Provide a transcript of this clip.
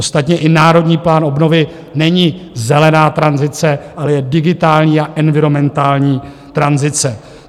Ostatně i Národní plán obnovy není zelená tranzice, ale je digitální a environmentální tranzice.